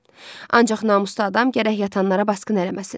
Ancaq namuslu adam gərək yatanlara basqın eləməsin.